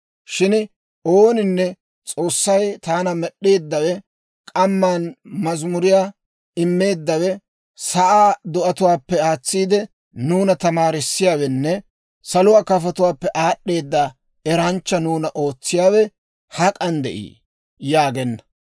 Shin ooninne, ‹S'oossay, taana Med'd'eeddawe, k'amman mazamuriyaa immeeddawe, sa'aa do'atuwaappe aatsiide, nuuna tamaarissiyaawenne saluwaa kafotuwaappe aad'd'eeda eranchcha nuuna ootsiyaawe hak'an de'ii?› yaagenna.